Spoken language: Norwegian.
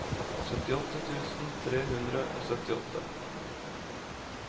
syttiåtte tusen tre hundre og syttiåtte